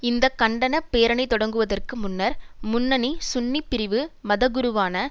இந்த கண்டன பேரணி தொடங்குவதற்கு முன்னர் முன்னணி சுன்னி பிரிவு மத குருவான